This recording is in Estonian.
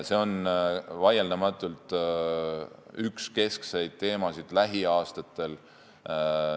See on vaieldamatult üks keskseid teemasid lähiaastatel.